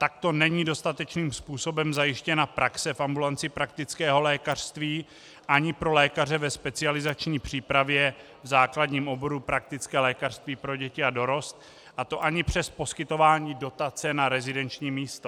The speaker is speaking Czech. Takto není dostatečným způsobem zajištěna praxe v ambulanci praktického lékařství ani pro lékaře ve specializační přípravě v základním oboru praktické lékařství pro děti a dorost, a to ani přes poskytování dotace na rezidenční místo.